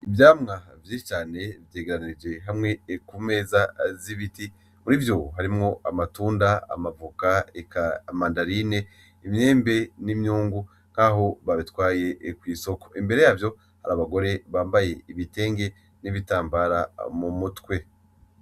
Ivyamwa vyinshi cane vyegeranirije hamwe ku meza z'ibiti muri vyo harimwo amatunda, amavoka, eka amamandarine, imyembe, n'imyungu nkaho babitwaye kw'isoko. Imbere yavyo har'abagore bambaye ibitenge n'ibitambara mu mutwe.